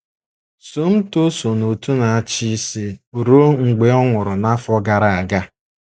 Somto so n’Òtù Na - achi Isi ruo mgbe ọ nwụrụ n’afọ gara aga.